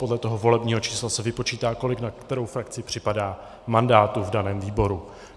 Podle toho volebního čísla se vypočítá, kolik na kterou frakci připadá mandátů v daném výboru.